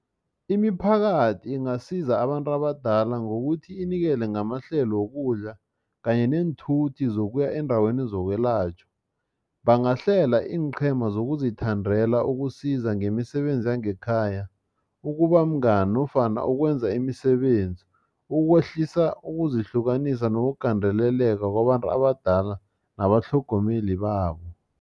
Imiphakathi ingasiza abantu abadala ngokuthi inikele ngamahlelo wokudla kanye neenthuthi zokuya eendaweni zokwelatjhwa. Bangahlela iinqhema zokuzithandela ukusiza ngemisebenzi yangekhaya ukuba mngani nofana ukwenza imisebenzi ukwehlisa ukuzihlukanisa nokugandeleleka kwabantu abadala nabatlhogomeli babo.